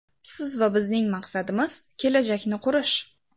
Siz va bizning maqsadimiz kelajakni qurish.